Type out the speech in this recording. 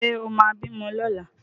Ṣé ó máa bímọ lọ́la?